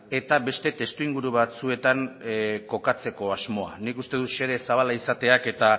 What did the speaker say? eta beste testuinguru batzuetan kokatzeko asmoa nik uste dut xede zabala izateak eta